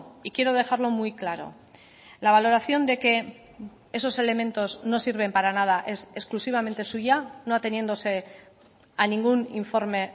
y quiero dejarlo muy claro la valoración de que esos elementos no sirven para nada es exclusivamente suya no ateniéndose a ningún informe